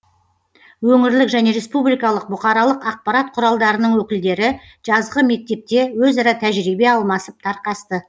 өңірлік және республикалық бұқаралық ақпарат құралдарының өкілдері жазғы мектепте өзара тәжірибе алмасып тарқасты